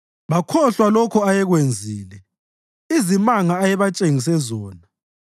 Bakhohlwa lokho ayekwenzile, izimanga ayebatshengise zona.